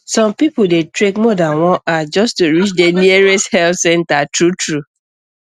some people dey trek more than one hour just to reach the nearest health center truetrue